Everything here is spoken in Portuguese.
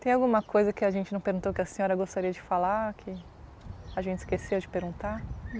Tem alguma coisa que a gente não perguntou que a senhora gostaria de falar, que a gente esqueceu de perguntar?